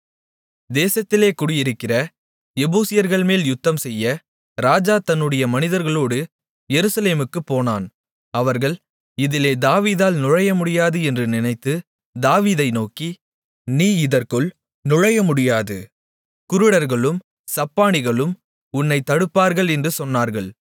தேசத்திலே குடியிருக்கிற எபூசியர்கள்மேல் யுத்தம்செய்ய ராஜா தன்னுடைய மனிதர்களோடு எருசலேமுக்குப் போனான் அவர்கள் இதிலே தாவீதால் நுழையமுடியாது என்று நினைத்து தாவீதை நோக்கி நீ இதற்குள் நுழையமுடியாது குருடர்களும் சப்பாணிகளும் உன்னைத் தடுப்பார்கள் என்று சொன்னார்கள்